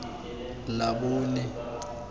labone